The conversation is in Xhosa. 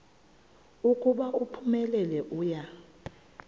ukuba uphumelele uya